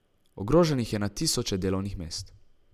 Ogroženih je na tisoče delovnih mest.